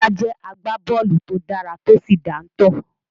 Musa jẹ́ agbábọ́ọ̀lù to dára tó sì dáńtọ́.